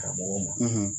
Karamɔgɔw ma